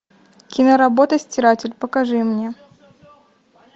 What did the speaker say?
киноработа стиратель покажи мне